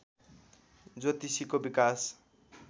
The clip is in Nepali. ज्योतिषीको विकास